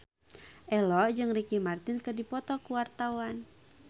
Ello jeung Ricky Martin keur dipoto ku wartawan